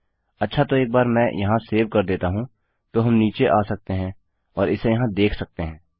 अच्छा तो एक बार मैं यहाँ सेव कर देता हूँ तो हम नीचे आ सकते हैं और इसे यहाँ देख सकते हैं